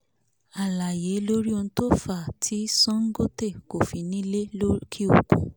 àìáyé lórí ohun tó fàá tí songote kò fi ní le lókè-òkun